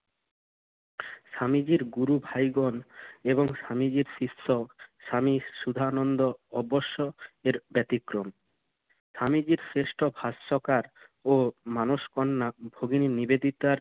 স্বামীজির গুরু ভাইগণ এবং স্বামীজির শিষ্য স্বামী সুধানন্দ অবশ্য এর ব্যতিক্রম। স্বামীজির শ্রেষ্ঠ ভাষ্যকার ও মানসকন্যা ভগিনি নিবেদিতার